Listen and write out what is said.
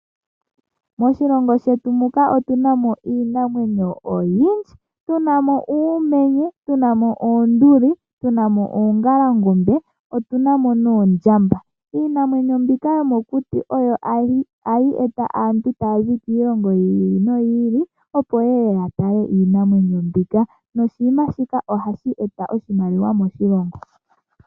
Moshilongo shetu muka omu na iinamwenyo oyindji, muna uumenye, oonduli, oongalangome noshowoo oondjamba. Iinamwenyo mbika yo mo kuti oyo hayi eta aantu ta ya zi kiilongo yi ili no yi ili, opo ye ye ya tale iinamwenyo mbika, noshinima shika oha shi eta iimaliwa moshilongo.